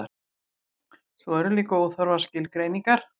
svo eru líka óþarfar skilgreiningar